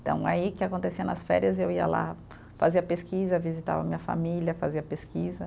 Então, aí, o que acontecia nas férias, eu ia lá, fazia pesquisa, visitava a minha família, fazia pesquisa.